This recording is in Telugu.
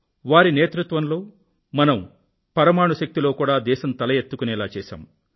వారి నేతృత్వంలో మనం పరమాణు శక్తి లో కూడా దేశం తల ఎత్తుకొనేటట్లు చేశాము